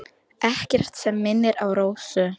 Ekkert sem minnir á Rósu.